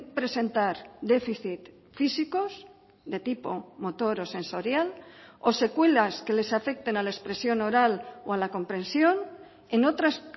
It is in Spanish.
presentar déficit físicos de tipo motor o sensorial o secuelas que les afecten a la expresión oral o a la comprensión en otras